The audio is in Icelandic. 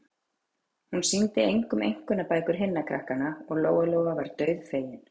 Hún sýndi engum einkunnabækur hinna krakkanna, og Lóa-Lóa var dauðfegin.